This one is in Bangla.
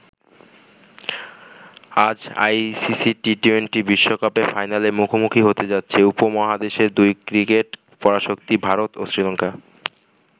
আজ আইসিসি টি২০ বিশ্বকাপের ফাইনালে মুখোমুখি হতে যাচ্ছে উপমহাদেশের দুই ক্রিকেট পরাশক্তি ভারত ও শ্রীলংকা।